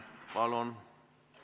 Palun!